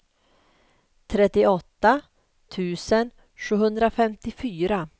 trettioåtta tusen sjuhundrafemtiofyra